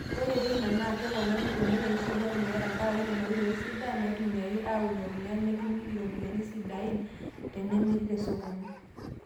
Ore teina, naa keponari oleng eishoi ormuya tenkaraki Nena oitoi sidan naaitumiyaki aaunie ormuya netumi iropiyiani sidan tenemiri tesokoni.